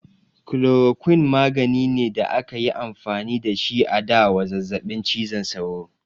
Chloroquine magani ne da akayi amfani da shi a da wa zazzabin cizon sauro